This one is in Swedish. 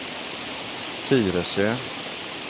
Tyresö